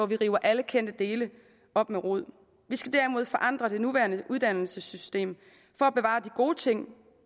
vi river alle kendte dele op med rod vi skal derimod forandre det nuværende uddannelsessystem for at bevare de gode ting